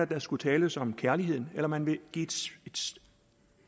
der skulle tales om kærligheden eller man ville give